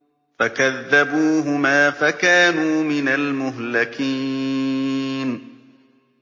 فَكَذَّبُوهُمَا فَكَانُوا مِنَ الْمُهْلَكِينَ